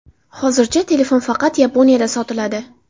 Hozircha telefon faqat Yaponiyada sotiladi.